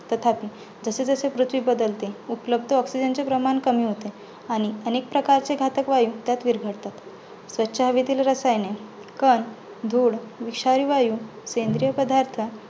तथापि जसे जसे पृथ्वी बदलते उपलब्ध oxygen चे प्रमाण कमी होते. आणि अनेक प्रकारचे घातक वायू त्यात विरघळतात. स्वच्छ हवेतील रसायने, कण, धूळ, विषारी वायू, सेंद्रिय पदार्थ